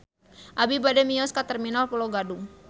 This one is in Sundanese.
Abi bade mios ka Terminal Pulo Gadung